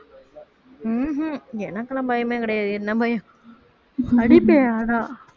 உம் ஹம் எனக்கெல்லாம் பயமே கிடையாது என்ன பயம் அடிப்பேன் ஆனா